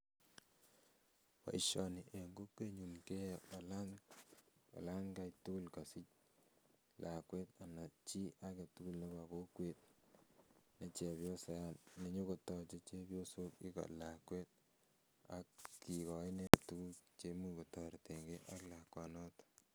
Boisioni en kokwenyun keyoe olan kaitukul kosich lakwet ana chii aketukul nebo kokwet nechepyosa nenyokotoche chepyosok iko lakwet ak kikoi nendet tukuk cheimuch kotoretengee ak lakwanoton